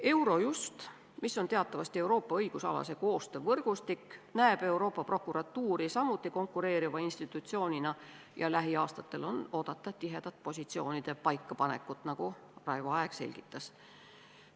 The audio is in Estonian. Eurojust, mis on teatavasti Euroopa õigusalase koostöö võrgustik, näeb Euroopa Prokuratuuri samuti konkureeriva institutsioonina ja lähiaastatel on oodata tihedat positsioonide paikapanekut, nagu Raivo Aeg selgitas.